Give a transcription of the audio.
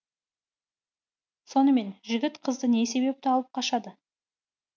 сонымен жігіт қызды не себепті алып қашады